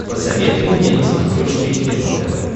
посоветуй мне на смотрешке кино тв